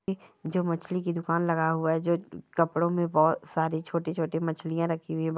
जो मछली की दुकान लगाया हुआ है जो कपड़ों मे बहुत सारी छोटि छोटि मछलियाँ रखी हुई है।